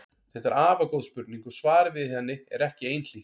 Þetta er afar góð spurning og svarið við henni er ekki einhlítt.